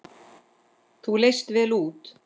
Þú leist vel út.